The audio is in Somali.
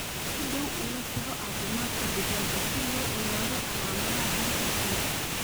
Si dhow ula soco caafimaadka digaagga si loo ogaado calaamadaha hore ee cudurka.